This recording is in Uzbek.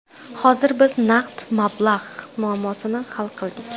Hozir biz naqd mablag‘ muammosini hal qildik.